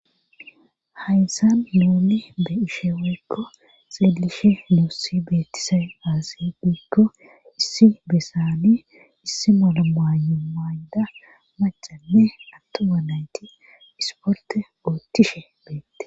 Hayssa nuuni be'ishe woykko xeelishe nuussi beettiza aaze giikko issi besani issi malamaayo mayda macane atto wanayti isporte oottishe beette.